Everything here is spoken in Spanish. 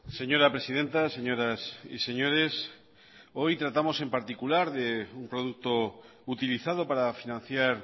señora presidenta señoras y señores hoy tratamos en particular de un producto utilizado para financiar